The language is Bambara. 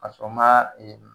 A sɔn maa